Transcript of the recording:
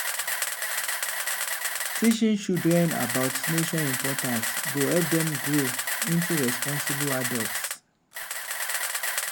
teaching children about nature’s importance go help dem grow into responsible adults.